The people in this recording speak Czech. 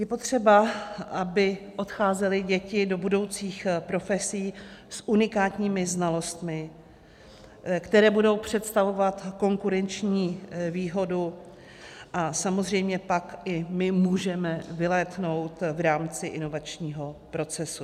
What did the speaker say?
Je potřeba, aby odcházely děti do budoucích profesí s unikátními znalostmi, které budou představovat konkurenční výhodu, a samozřejmě pak i my můžeme vylétnout v rámci inovačního procesu.